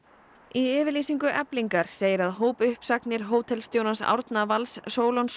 í yfirlýsingu Eflingar segir að hópuppsagnir hótelstjórans Árna Vals